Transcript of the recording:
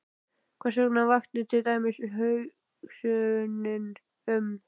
Hversvegna vakti til dæmis hugsunin um